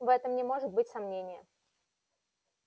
в этом не может быть сомнения